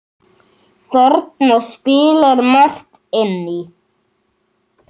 Þarna spilar margt inn í.